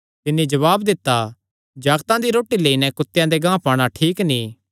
तिन्नी जवाब दित्ता जागतां दी रोटी लेई नैं कुत्तेआं दे गांह पाणा ठीक नीं